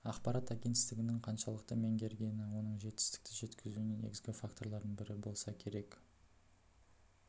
ақпарат агенттігінің қаншалықты меңгергені оның жетістікке жеткізуіне негізгі факторлардың бірі болса керек